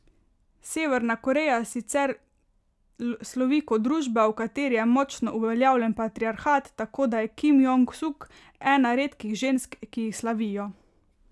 Severna Koreja sicer slovi kot družba, v kateri je močno uveljavljen patriarhat, tako da je Kim Jong Suk ena redkih žensk, ki jih slavijo.